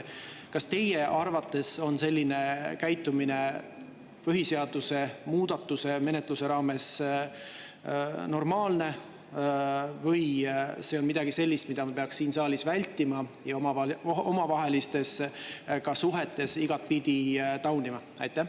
Kas teie arvates on selline käitumine põhiseaduse muudatuse menetluse raames normaalne või on see midagi sellist, mida me peaks siin saalis vältima ja omavahelistes suhetes igatpidi taunima?